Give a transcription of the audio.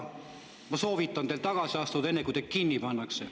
Ma soovitan teil tagasi astuda enne, kui teid kinni pannakse.